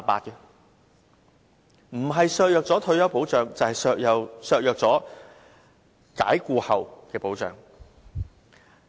不僅削弱僱員的退休保障，也削弱他們被解僱後的保障。